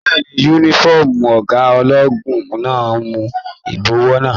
Bẹ́ẹ̀ni, yúnífọ̀ọ́mù ọgá ológun máa n mú ibọwọ wa.